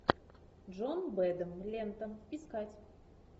джон бэдэм лента искать